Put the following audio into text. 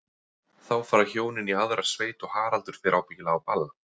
Þá fara hjónin í aðra sveit og Haraldur fer ábyggilega á ball.